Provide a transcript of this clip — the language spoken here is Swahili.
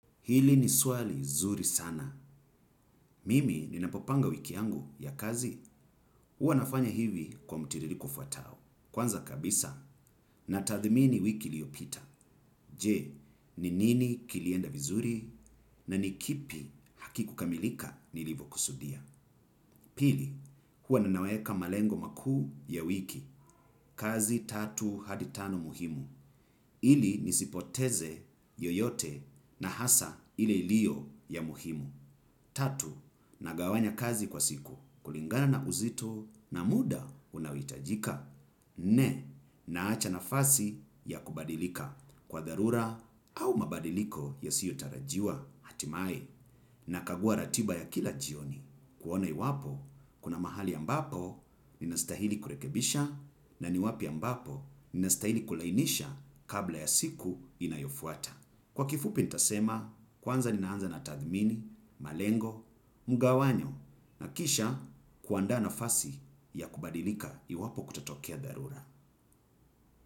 Hili ni swali nzuri sana. Mimi ninapopanga wiki yangu ya kazi. Huwa nafanya hivi kwa mtiririko ufatao: Kwanza kabisa, natadhmini wiki iliyopita. Je, ni nini kilienda vizuri, na ni kipi hakikukamilika nilivyokusudia? Pili, kuwa ninaweka malengo makuu ya wiki. Kazi tatu hadi tano muhimu. Ili nisipoteze yoyote, na hasa, ile iliyo ya muhimu. Tatu, nagawanya kazi kwa siku kulingana na uzito na muda unaohitajika. Nne, naacha nafasi ya kubadilika kwa dharura au mabadiliko yasiyotarajiwa. Hatimaye, nakagua ratiba ya kila jioni. Kuona iwapo, kuna mahali ambapo ninastahili kurekebisha, na ni wapi ambapo ninastahili kulainisha kabla ya siku inayofuata. Kwa kifupi nitasema, kwanza ninaanza na tathmini, malengo, mgawanyo, na kisha kuandaa nafasi ya kubadilika iwapo kutatokea dharura.